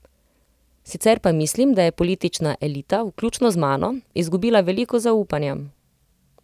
Sicer pa mislim, da je politična elita, vključno z mano, izgubila veliko zaupanja.